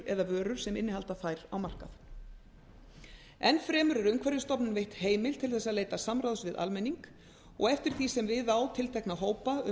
eða vörur sem innihalda þær á markað enn fremur er umhverfisstofnun veitt heimild til þess að leita samráðs við almenning og eftir því sem við á tiltekna hópa um